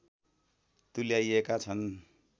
तुल्याइएका छन्